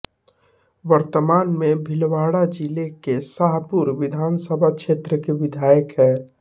वर्तमान में भीलवाड़ा जिले के शाहपुरा विधानसभा क्षेत्र के विधायक हैं